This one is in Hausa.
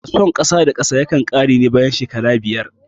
Fasfon kasa da kasa yakan ƙare ne bayan shekaru biyar